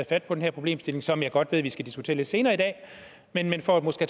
fat på den her problemstilling som jeg godt ved at vi skal diskutere lidt senere i dag men for måske